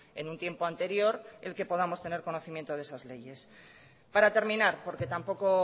en un tiempo anterior el que podamos tener conocimiento de esas leyes para terminar porque tampoco